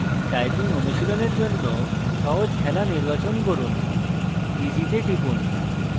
typing অনুশীলনের জন্য সহজ খেলা নির্বাচন করুন easy তে টিপুন